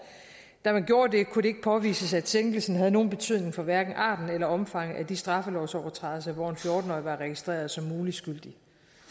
da man gjorde det kunne det ikke påvises at sænkelsen havde nogen betydning for hverken arten eller omfanget af de straffelovsovertrædelser hvor en fjorten årig var registreret som mulig skyldig